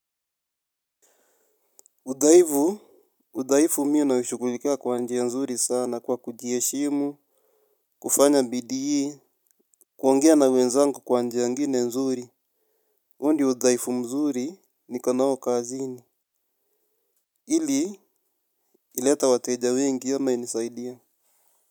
Udhaifu, udhaifu mi naishughulikia kwa njia nzuri sana kwa kujiheshimu, kufanya bidii hii, kuongea na wenzangu kwa njia ingine nzuri. Huu ni udhaifu mzuri niko nao kazini. Ili, ileta wateja wengi ama inisaidie.